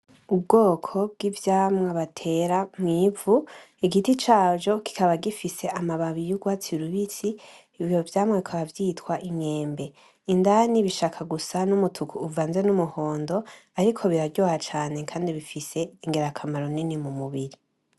Ubwoko bw'ivyamwa batera mw'ivu. Igiti cavyo kikaba gifise amababi y'urwatsi rubisi ivyo vyamwa bikaba vyitwa : imyembe indani bishaka gusa n'umutuku uvanze n' umuhondo ariko biraryoha cane kandi bifise ingira kamaro nini mu mubiri.